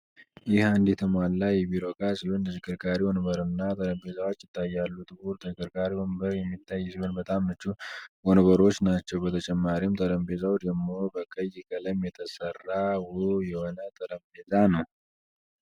ይህ አንድ የተሟላ የቢሮ እቃ ሲሆን ተሽከርካሪ ወንበርና ጠርጴዛወች ይታያሉ ጥቁር ተሽከርካሪ ወንበር የሚታይ ይሆን በጣም ምቹ ወንበሮች ናቸው። በተጨማሪም ጠረጴዛው ደሞ በቀይ ቀለም የተሰራ ውብ የሆነ ጠረጴዛ ነው ።